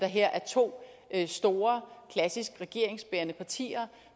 her to store klassisk regeringsbærende partier